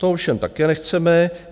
To ovšem také nechceme.